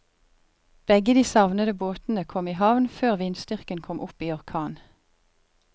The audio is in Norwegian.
Begge de savnede båtene kom i havn før vindstyrken kom opp i orkan.